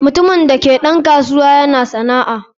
Mutumin da ke da ɗan kasuwa yana sana'a.